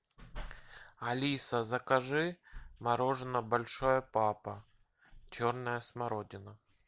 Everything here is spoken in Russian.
алиса закажи мороженое большой папа черная смородина